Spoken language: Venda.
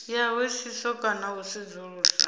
ya hoisiso kana u sedzulusa